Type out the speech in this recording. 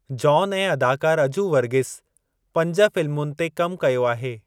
John ऐं अदाकारु अजू वर्गीस पंज फिल्मुनि ते कम कयो आहे।